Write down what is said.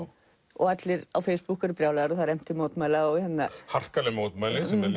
og allir á Facebook eru brjálaðir og það er efnt til mótmæla harkaleg mótmæli sem er